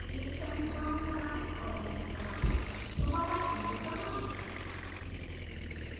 एक सेमीकोलन लगाएं और एंटर दबाएं दोबारा एंटर दबाएं